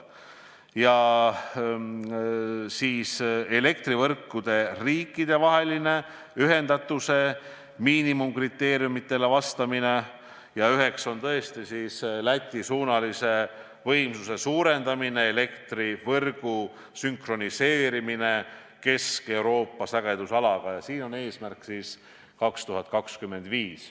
Eesmärkide hulgas on ka elektrivõrkude riikidevahelise ühendatuse miinimumkriteeriumidele vastamine, sh Läti-suunalise võimsuse suurendamine ja elektrivõrgu sünkroniseerimine Kesk-Euroopa sagedusalaga 2025. aastal.